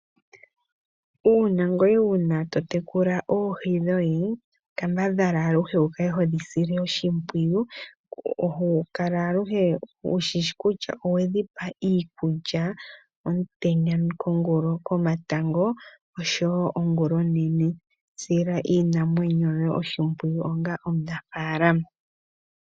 Una ngoye wuli to tekula oohi dhoye kambadhala aluhe wu kale hodhi sile oshipwiyu kala aluhe wushishi kutya owedhi pa iikulya omutenya, komatango oshowo ongulonene. Sila iinamwenyo yoye oshimpwiyu onga omunafalama.